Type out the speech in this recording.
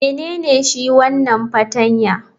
Menene shi wanan fartanya?